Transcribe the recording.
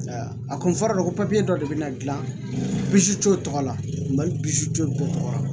A kun fɔr'a ye ko dɔ de bɛna gilan pisto tɔgɔ lali b'i suto bɛɛ tɔgɔ la